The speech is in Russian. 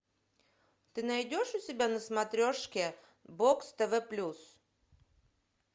ты найдешь у себя на смотрешке бокс тв плюс